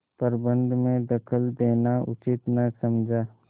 प्रबंध में दखल देना उचित न समझा